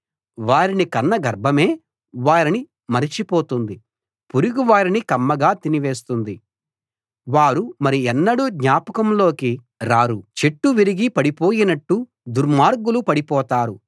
వారిని కన్న గర్భమే వారిని మరిచి పోతుంది పురుగు వారిని కమ్మగా తినివేస్తుంది వారు మరి ఎన్నడూ జ్ఞాపకంలోకి రారు చెట్టు విరిగి పడిపోయినట్టు దుర్మార్గులు పడిపోతారు